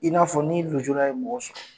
A b'i n'a ni nujura ye mɔgɔ sɔrɔ.